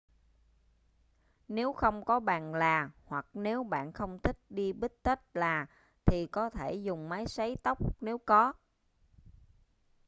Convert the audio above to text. nếu không có bàn là hoặc nếu bạn không thích đi bít-tất là thì có thể dùng máy sấy tóc nếu có